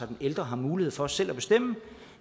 den ældre har mulighed for selv at bestemme